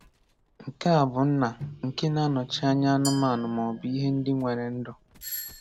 Nke a bụ nna nke na-anọchi anya anụmanụ maọbụ ihe ndị nwere ndụ.